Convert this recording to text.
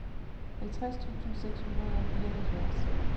halvtreds tusind seks hundrede og fireoghalvfjerds